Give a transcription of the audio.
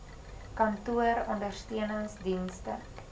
kantoor ondersteunings dienste